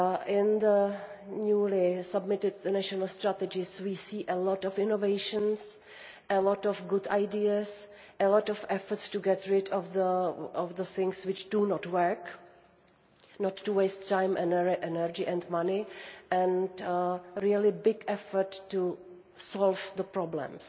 In the newly-submitted national strategies we see a lot of innovation, a lot of good ideas, a lot of effort to get rid of the things that do not work, and not to waste time, energy and money, and a really big effort to solve the problems.